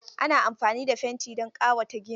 Ana amfani da fenti don ƙawata gini.